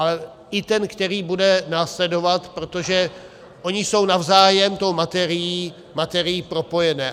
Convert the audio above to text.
Ale i ten, který bude následovat, protože ony jsou navzájem tou materií propojené.